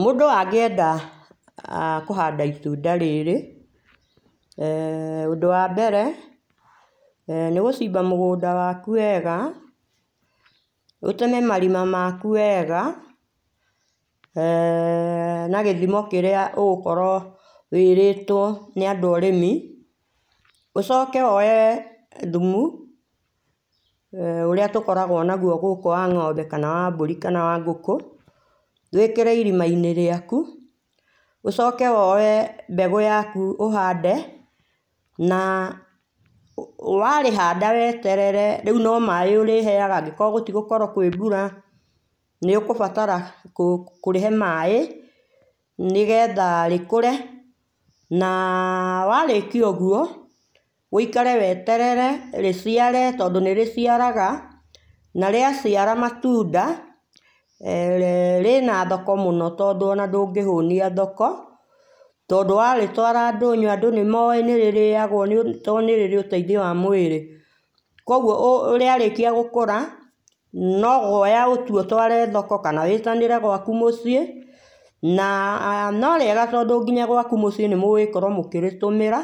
Mũndũ angĩenda ah kũhanda itunda rĩrĩ, eh ũndũ wa mbere nĩ gũcimba mũgũnda waku wega, ũteme marima maku wega eh na gĩthimo kĩrĩa ũgũkorwo wĩĩrĩtwo nĩ andũ a ũrĩmi. Ũcoke woye thumu, [ ũrĩa tũkoragwo naguo ngũkũ wa ng'ombe kana wa mbũri kana wa ngũkũ, wĩĩkĩre irima-inĩ rĩaku. Ũcoke woye mbegũ yaku ũhande, na warĩhanda weeterere, rĩu no maaĩ ũrĩheaga, angĩkorwo gũtigũkorwo kwĩ mbũra, nĩ ũkũbatara kũrĩhe maaĩ nĩgetha rĩkũre. Na warĩkia ũguo, wũikare weterere rĩciare tondũ nĩ rĩciaraga, na rĩaciara matunda, rĩna thoko mũno tondũ o na ndũngĩhũnia thoko, tondũ warĩtwara ndũnyũ andũ nĩ maũĩ nĩ rĩrĩagwo nĩ tondũ nĩ rĩrĩ ũteithio wa mwĩrĩ. Kwoguo rĩarĩkia gũkũra, no gũoya ũtue ũtware thoko, kana wĩĩtanĩre gwaku mũciĩ. Na no rĩega tondũ nginya gwaku mũciĩ nĩ mũgũgĩkorwo mũgĩrĩtũmĩra,